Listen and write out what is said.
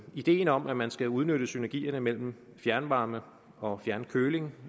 ideen om at man skal udnytte synergier imellem fjernvarme og fjernkøling